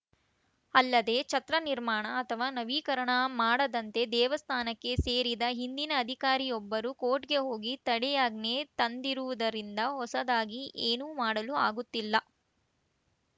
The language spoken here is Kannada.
ಅಲ್ಲದೇ ಛತ್ರ ನಿರ್ಮಾಣ ಅಥವಾ ನವೀಕರಣ ಮಾಡದಂತೆ ದೇವಸ್ಥಾನಕ್ಕೆ ಸೇರಿದ ಹಿಂದಿನ ಅಧಿಕಾರಿಯೊಬ್ಬರು ಕೋರ್ಟ್‌ಗೆ ಹೋಗಿ ತಡೆಯಾಜ್ಞೆ ತಂದಿರುವುದರಿಂದ ಹೊಸದಾಗಿ ಏನೂ ಮಾಡಲು ಆಗುತ್ತಿಲ್ಲ